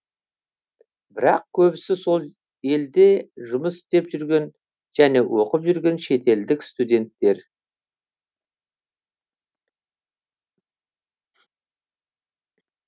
бірақ көбісі сол елде жұмыс істеп жүрген және оқып жүрген шетелдік студенттер